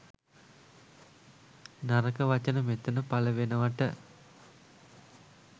නරක වචන මෙතන පලවෙනවට.